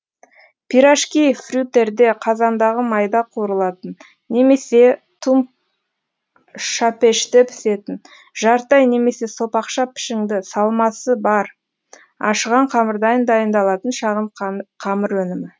пирожки фритюрде қазандағы майда қуырылатын немесе тұмшапеште пісетін жарты ай немесе сопақша пішіңді салмасы бар ашыған қамырдан дайындалатын шағын қамыр өнімі